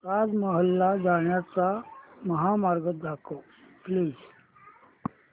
ताज महल ला जाण्याचा महामार्ग दाखव प्लीज